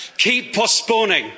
cannot keep postponing.